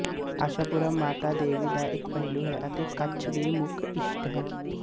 ਆਸ਼ਾਪੁਰਾ ਮਾਤਾ ਦੇਵੀ ਦਾ ਇੱਕ ਪਹਿਲੂ ਹੈ ਅਤੇ ਕੱਛ ਦੀ ਮੁੱਖ ਇਸ਼ਟ ਹੈ